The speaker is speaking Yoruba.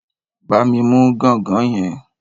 Bá mi mú ganga yẹn.